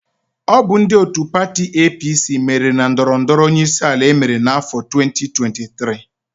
Ọ bụ ndị òtù pati EePiiSii meriri na ndọrọ ndọrọ onyeisiala emere n'áfọ 2023.